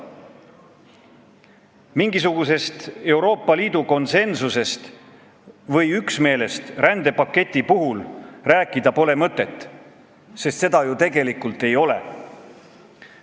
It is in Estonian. Mingisugusest Euroopa Liidu konsensusest või üksmeelest rändepakti puhul rääkida pole mõtet, sest seda ju tegelikult ei ole.